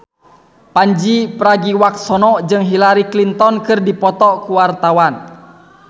Pandji Pragiwaksono jeung Hillary Clinton keur dipoto ku wartawan